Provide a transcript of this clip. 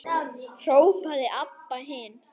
hrópaði Abba hin.